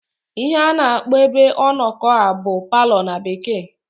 Ihe a na-akpọ ebe ọnọkọ a bụ palọ na Bekee.